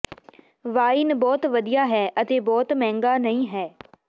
wine ਬਹੁਤ ਵਧੀਆ ਹੈ ਅਤੇ ਬਹੁਤ ਮਹਿੰਗਾ ਨਹੀਂ ਹੈ